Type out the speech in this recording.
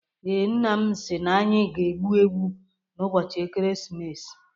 Ee, nna m si na anyị ga-egbu ewu n'ụbọchị ekeresimesi.